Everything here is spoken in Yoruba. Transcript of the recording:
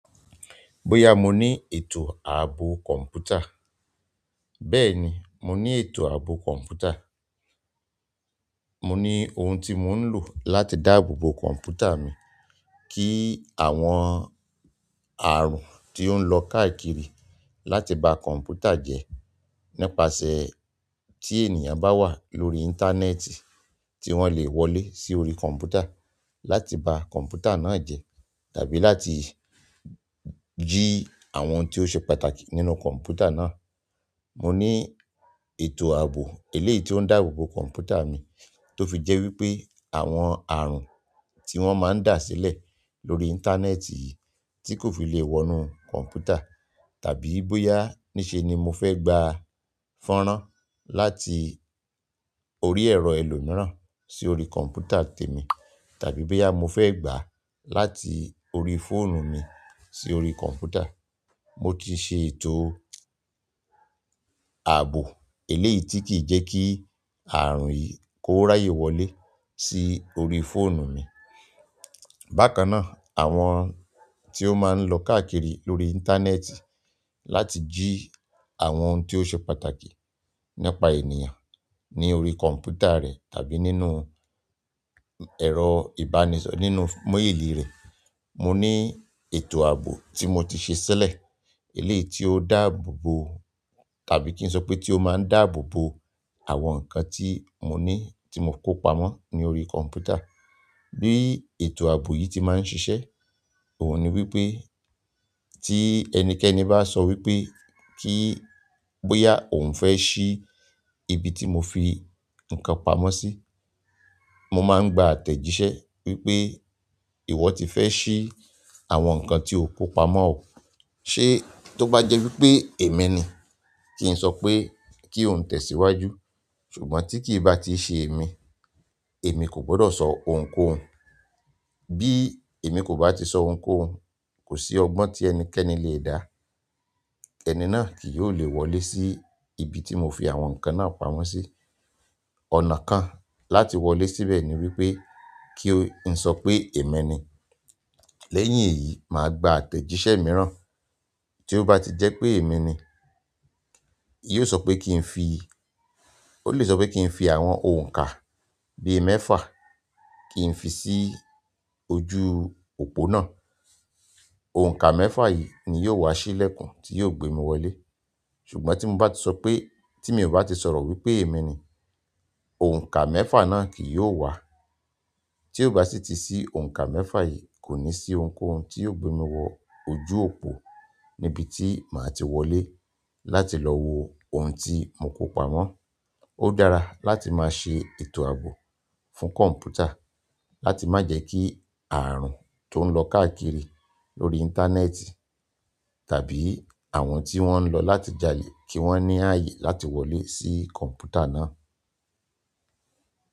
Bóyá mo ní ètò ààbò kọ̀mpútà, bẹ́ẹ̀ni mo ní ètò ààbò kọ̀mpútà. Mo ní ohun tí mò ń lò láti dáàbòbo kọ̀mpútà mi kí àwọn ààrùn tí ó ń lọ káàkiri láti ba kọ̀mpútà jẹ́ nípasẹ̀ tí ènìyàn bá wà lórí íńtánẹ́ẹ̀tì tí wọ́n lè wọlé sí orí kọ̀mpútà láti ba kọ̀mpútà náà jẹ́ tàbí láti jí àwọn ohun tí ó ṣe pàtàkì nínú kọ̀mpútà náà. Mo ní ètò ààbò eléyìí tí ó ń dáàbòbo kọ̀mpútà mi tó fi jẹ́ wípé àwọn ààrùn tí wọ́n máa ń dàsílẹ̀ lórí íńtánẹ́ẹ̀tì yìí tí kò fi lè wọnú kọ̀mpútà. Tàbí bóyá ní ṣe ni mo fẹ́ gba fọ́n rán láti orí ẹ̀rọ èlò mìíràn sí orí kọ̀mpútà tèmi, tàbí bóyá mo fẹ́ gbà á láti orí fóònù mi sí orí kọ̀mpútà, mo ti ṣe ètò ààbò eléyìí tí kì í jẹ́ kí ààrùn yìí kó ráyè wọlé sí orí fóònù mi. Bákan náà, àwọn tí ó máa ń lọ káàkiri lórí íńtánẹ́ẹ̀tì láti jí àwọn ohun tí ó ṣe pàtàkì nípa ènìyàn ní orí kọ̀mpútà rẹ̀ tàbí nínú ẹ̀rọ ìbánisọ̀rọ̀ nínú méèlì rẹ̀, mo ní ètò ààbò tí mo ti ṣe sílẹ̀ eléyìí tí ó dáàbòbo tàbí kí n sọ pé tí ó máa ń dáàbòbo àwọn nǹkan tí mo ní tí mo kó pamọ́ ní orí kọ̀mpútà. Bí ètò ààbò yìí ti máa ń ṣiṣẹ́, òun ni wípé tí ẹnikẹ́ni bá sọ wípé kí, bóyá òun fẹ́ ṣí ibi tí mo fi nǹkan pamọ́ sí, mo máa ń gba àtẹ̀jíṣẹ́ wípé ìwọ ti fẹ́ ṣí àwọn nǹkan tí o kó pamọ́. Ṣé tó bá jẹ́ wípé èmi ni kí n sọ pé kí òun tẹ̀síwájú, ṣùgbọ́n tí kì í bá ti ṣe èmi, èmi kò gbọdọ̀ sọ òun kó òun. Bí èmi kò bá ti sọ òun kó òun, kò sí ọgbọ́n tí ẹnikẹ́ni le dá, ẹni náà kì yóò le wọlé sí ibi tí mo fi àwọn nǹkan náà pamọ́ sí. Ọ̀nà kan láti wọlé síbẹ̀ ni wípé kí ó ń sọ pé èmi ni. Lẹ́yìn èyí, màá gba àtẹ̀jíṣẹ́ mìíràn. Tí ó bá ti jẹ́ pé èmi ni, yìí ó sọ pé kí n fi, ó lè sọ pé kí n fi àwọn òǹkà bí i mẹ́fà kí n fi sí ojú òpó náà. Ọ̀nkà mẹ́fà yìí ni yóò wá sílẹ̀kùn tí yóò gbé mi wọlé. Ṣùgbọ́n tí mo bá ti sọ pé, tí mi ò bá ti sọ̀rọ̀ wípé èmi ni, òǹkà mẹ́fà náà kì yóò wá. Tí ó bá sì ti sí òǹkà mẹ́fà yìí, kò ní sí ohunkóhun tí yóò gbé mi wọ ojú òpó níbi tí màá ti wọlé láti lọ wo ohun tí mo kó pamọ́. Ó dára láti má ṣe ètò ààbò fún kọ̀mpútà láti má jẹ́ kí ààrùn tó ń lọ káàkiri lórí íńtánẹ́ẹ̀tì tàbí àwọn tí wọ́n ń lọ láti jálè kí wọ́n ní ààyè láti wọlé sí kọ̀mpútà náà.